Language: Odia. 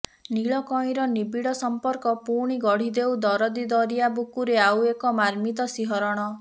ନୀଳ କଇଁର ନିବିଡ଼ ସମ୍ପର୍କ ପୁଣି ଗଢ଼ି ଦେଉ ଦରଦୀ ଦରିଆ ବୁକୁରେ ଆଉ ଏକ ମାର୍ମିତ ଶିହରଣ